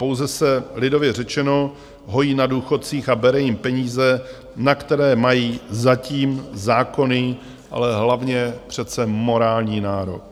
Pouze se, lidově řečeno, hojí na důchodcích a bere jim peníze, na které mají zatím zákonný, ale hlavně přece morální nárok.